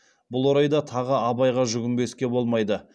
бұл орайда тағы абайға жүгінбеске болмайды